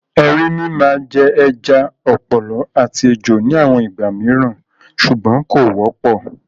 Erinmi máa jẹ ẹja, ọ̀pọ̀lọ́ àti ejò ní àwọn ìgbà mìíràn ṣùgbọ́n kò wọ́pọ̀.